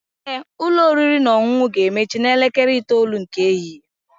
Ee, ụlọ oriri na ọṅụṅụ ga-emechi n'elekere 9:00 nke ehihie